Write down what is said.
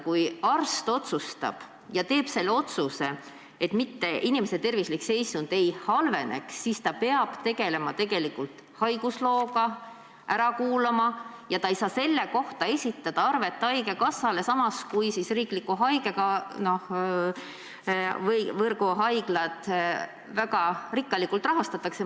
Kui arst teeb otsuse, siis selleks, et inimese tervislik seisund ei halveneks, peab ta tegelema haiguslooga, inimese ära kuulama, aga ta ei saa selle kohta esitada arvet haigekassale, samas kui riikliku võrgu haiglad väga rikkalikult rahastatakse.